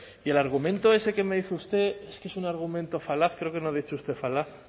y el argumento que me dice usted es que es un argumento falaz creo que no ha dicho usted falaz